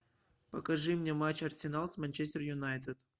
покажи мне матч арсенал с манчестер юнайтед